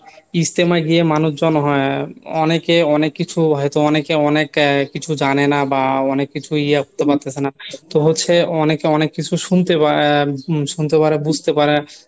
ইজতেমায় গিয়ে মানুষজন হ্যা অনেকে অনেক কিছু হয়তো অনেকে অনেক কিছু জানেনা বা অনেক কিছুই ইয়ে করতে পারতেছেনা তো হচ্ছে অনেকে অনেক কিছু শুনতে শুনতে পারে বুজতে পারে